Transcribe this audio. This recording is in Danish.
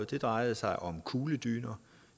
det drejede sig om kugledyner